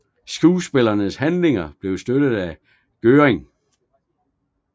Skuespillernes handlinger blev støttet af Groening